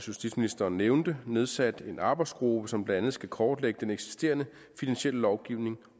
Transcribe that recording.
justitsministeren nævnte nedsat en arbejdsgruppe som blandt andet skal kortlægge den eksisterende finansielle lovgivning